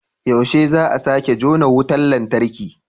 Yaushe ne za a sake jona wutar lantarki?